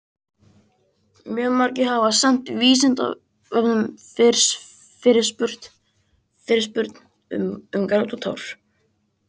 Mjög margir hafa sent Vísindavefnum fyrirspurn um grát og tár.